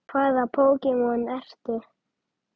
Hvaða Pokémon ertu?